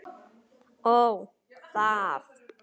Ó, það!